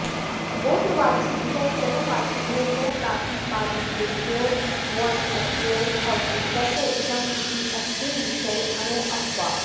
गोत्रवाचिभ्यः चरणवाचिभ्यः च प्रातिपदिकेभ्यो वुञ् प्रत्ययो भवति तस्य इदम् इत्येतस्मिन् विषये अणो ऽपवादः